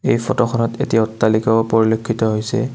এই ফটোখনত এটি অট্টালিকাও পৰিলক্ষিত হৈছে।